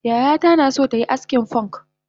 Yayata naso tayi askin fonk